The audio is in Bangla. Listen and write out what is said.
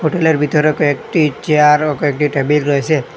হোটেলের ভিতরেও কয়েকটি চেয়ার ও কয়েকটি টেবিল রয়েসে।